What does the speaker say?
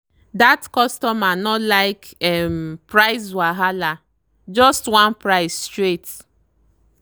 that customer no like um price wahala—just one price straight.